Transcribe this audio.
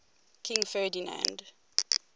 king ferdinand